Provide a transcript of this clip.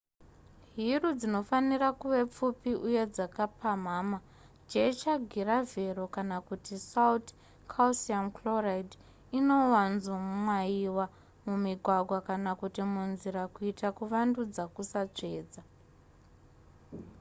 hiru dzinofanira kuve pfupi uye dzakapamhamha. jecha giravhero kana kuti sauti calcium chloride inowanzomwayiwa mumigwagwa kana kuti munzira kuitira kuvandudza kusatsvedza